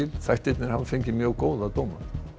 þættirnir hafa fengið mjög góða dóma